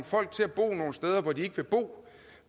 folk til at bo nogle steder hvor de ikke vil bo